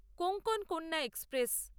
Konkan Kanya express